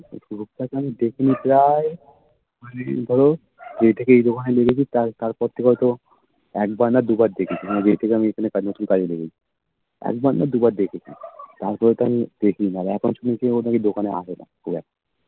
যে থেকে এই দোকানে ঢুকেছি তার তারপর থেকে হয়তো একবার না দুবার দেখেছি মানে যেই থেকে আমি এখানে কাজে ঢুকেছি তারপর দেখেছি একবার না দুবার দেখেছি তারপর তো আমি দেখিনা আর এখন শুনছি আমি ও আর দোকানে আসেনা খুব একটা